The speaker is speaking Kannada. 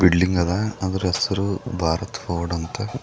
ಬಿಲ್ಡಿಂಗ್ ಅದ ಅದ್ರ ಹೆಸರು ಭಾರತ್ ಬೋರ್ಡ್ ಅಂತ.